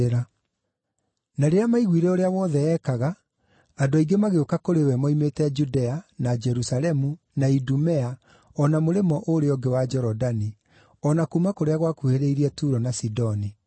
Na rĩrĩa maiguire ũrĩa wothe eekaga, andũ aingĩ magĩũka kũrĩ we moimĩte Judea, na Jerusalemu na Idumea o na mũrĩmo ũrĩa ũngĩ wa Jorodani, o na kuuma kũrĩa gwakuhĩrĩirie Turo na Sidoni.